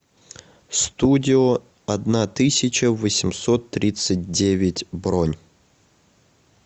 студио одна тысяча восемьсот тридцать девять бронь